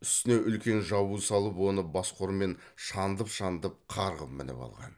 үстіне үлкен жабу салып оны басқұрмен шандып шандып қарғып мініп алған